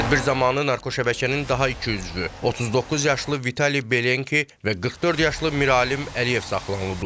Tədbir zamanı narkoşəbəkənin daha iki üzvü, 39 yaşlı Vitali Belenki və 44 yaşlı Miralim Əliyev saxlanılıb.